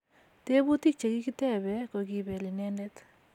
teputik chekikitepe kokipel inendet